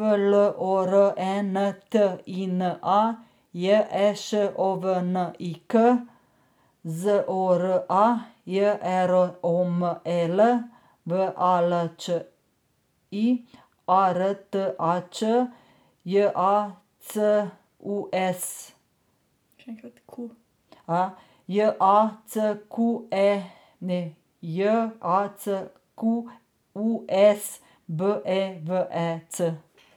L O R E N T I N A, J E Š O V N I K; Z O R A, J E R O M E L; V A L Č I, A R T A Č; J A C U E S še enkrat Q J A C Q E ne J A C Q U E S, B E V E C.